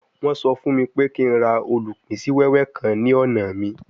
Wọ́n sọ fún mi pé kí n ra olupin si wewe kan ní ọ̀nà mi